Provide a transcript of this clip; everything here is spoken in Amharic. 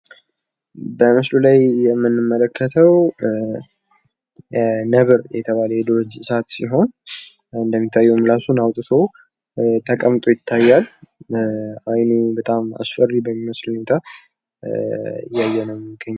በምስሉ ላይ የምንመለከተው ነብር የተባለ የዱር እንስሳት ሲሆን እንደሚታየው እራሱን አውጥቶ ተቀምጦ ይታያል። አይኑ በጣም አስፈሪ በሚመስል ሁኔታ እያየነው ይገኛል።